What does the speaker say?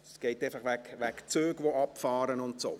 Es ist wegen Zügen, die abfahren, und dergleichen.